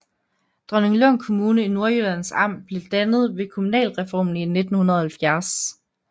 Dronninglund Kommune i Nordjyllands Amt blev dannet ved kommunalreformen i 1970